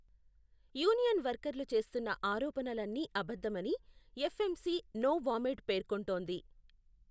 Union వర్కర్లు చేస్తున్న ఆరోపణలన్నీ అబద్ధమని ఎఫ్ఎంసి నోవామెడ్ పేర్కొంటోంది.